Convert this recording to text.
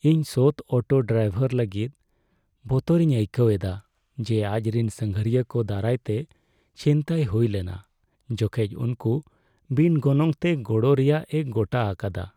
ᱤᱧ ᱥᱚᱛ auto driver ᱞᱟᱹᱜᱤᱫ ᱵᱚᱛᱚᱨᱤᱧ ᱟᱹᱭᱠᱟᱹᱣ ᱮᱫᱟ ᱡᱮ ᱟᱡᱨᱮᱱ ᱥᱟᱸᱜᱷᱟᱨᱤᱭᱟᱹ ᱠᱚ ᱫᱟᱨᱟᱭᱛᱮ ᱪᱷᱤᱱᱛᱟᱹᱭ ᱦᱩᱭ ᱞᱮᱱᱟ ᱡᱚᱠᱷᱮᱡ ᱩᱱᱠᱩ ᱵᱤᱱ ᱜᱚᱱᱚᱝᱛᱮ ᱜᱚᱲᱚ ᱨᱮᱭᱟᱜᱼᱮ ᱜᱚᱴᱟ ᱟᱠᱟᱫᱟ ᱾